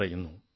phone call 1